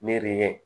Ne de ye